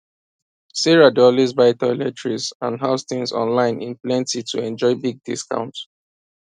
sarah dey always buy toiletries and house things online in plenty to enjoy big discount